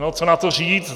No co na to říct.